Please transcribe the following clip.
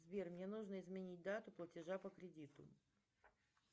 сбер мне нужно изменить дату платежа по кредиту